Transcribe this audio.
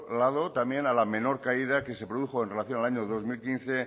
lado también a la menor caída que se produjo en relación al año dos mil quince